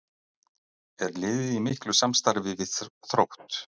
Er liðið í miklu samstarfi við Þrótt?